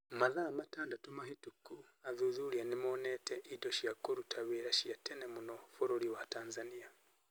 Mathaa matandatũ mahĩtũku athuthuria nĩ monete indo cia kũruta wĩra cia tene mũno bũrũri wa Tanzania.